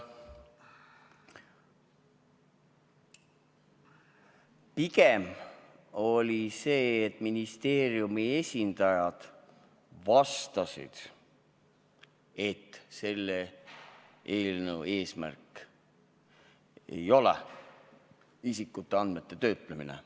Pigem oli sedasi, et ministeeriumi esindajad vastasid, et selle eelnõu eesmärk ei ole isikuandmete töötlemine.